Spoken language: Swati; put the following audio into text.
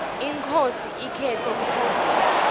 inkhosi ikhetsa liphovela